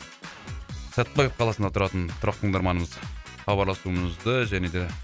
сәтпаев қаласында тұратын тұрақты тыңдарманымыз хабарласуымызды және де